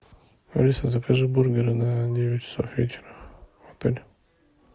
алиса закажи бургеры на девять часов вечера в отель